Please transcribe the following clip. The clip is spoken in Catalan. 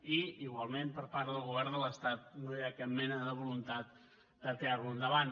i igualment per part del govern de l’estat no hi ha cap mena de voluntat de tirar lo endavant